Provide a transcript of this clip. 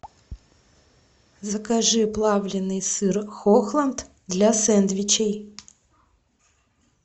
закажи плавленный сыр хохланд для сэндвичей